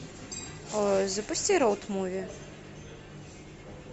запусти роуд муви